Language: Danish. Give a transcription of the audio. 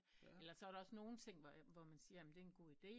Eller så er der også nogen ting hvor man siger det er en god ide